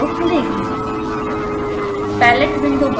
xcos window खुलेगी